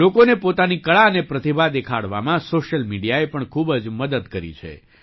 લોકોને પોતાની કળા અને પ્રતિભા દેખાડવામાં સૉશિયલ મીડિયાએ પણ ખૂબ જ મદદ કરી છે